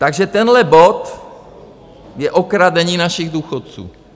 Takže tenhle bod je okradení našich důchodců.